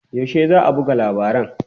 Yaushe za a buga labaran?